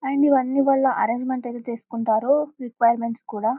and ఇవన్నీ వాళ్ళ arrangements చేసుకుంటారు రిక్వైర్మెంట్స్ కూడా